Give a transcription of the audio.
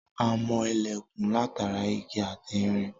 A mọ ilẹ̀kùn látara igi ati irin